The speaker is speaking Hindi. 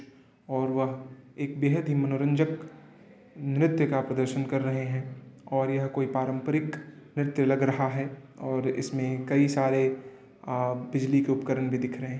और वह एक बेहद ही मनोरजक नृत्य का प्रदर्शन कर रहे हैं और यह कोई पारंपरिक नृत्य लग रहा है और इसमें कई सारे अ बिजली के उपकरण भी दिख रहे हैं।